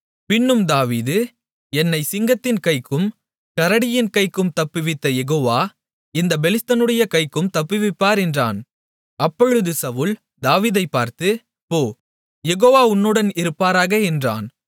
பின்னும் தாவீது என்னைச் சிங்கத்தின் கைக்கும் கரடியின் கைக்கும் தப்புவித்த யெகோவா இந்தப் பெலிஸ்தனுடைய கைக்கும் தப்புவிப்பார் என்றான் அப்பொழுது சவுல் தாவீதைப் பார்த்து போ யெகோவா உன்னுடன் இருப்பாராக என்றான்